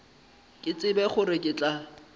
ke tsebe gore ke tla